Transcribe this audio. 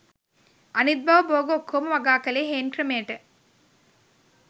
අනිත් බව බෝග ඔක්කෝම වගා කලේ හේන් ක්‍රමයට.